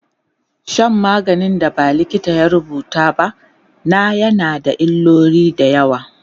Shan maganin da ba likita ya rubuta ba na yana da illoli da yawa